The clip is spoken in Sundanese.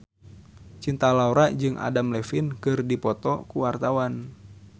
Cinta Laura jeung Adam Levine keur dipoto ku wartawan